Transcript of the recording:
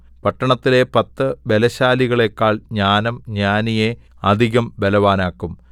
പട്ടണത്തിലെ പത്തു ബലശാലികളേക്കാൾ ജ്ഞാനം ജ്ഞാനിയെ അധികം ബലവാനാക്കും